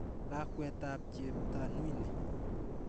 Lakwet ap Cheptanui ni.